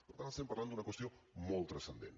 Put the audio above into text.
per tant estem parlant d’una qüestió molt transcendent